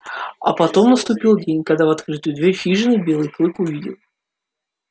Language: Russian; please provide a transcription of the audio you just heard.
а потом наступил день когда в открытую дверь хижины белый клык увидел